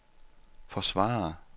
forsvare